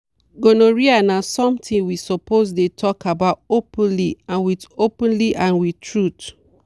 gonorrhea na something we suppose dey talk about openly and with openly and with truth.